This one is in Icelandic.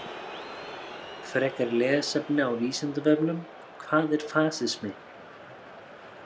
Frekara lesefni á Vísindavefnum: Hvað er fasismi?